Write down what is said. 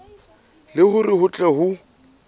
le hore ho tle ho